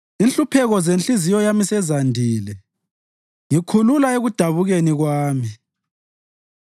Inhlupheko zenhliziyo yami sezandile; ngikhulula ekudabukeni kwami.